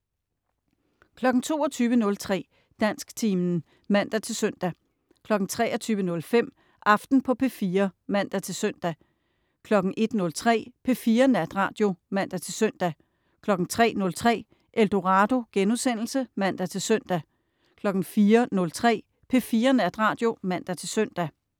22.03 Dansktimen (man-søn) 23.05 Aften på P4 (man-søn) 01.03 P4 Natradio (man-søn) 03.03 Eldorado* (man-søn) 04.03 P4 Natradio (man-søn)